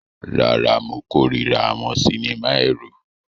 Rárá, mo kórìíra àwọn sinimá ẹ̀rù.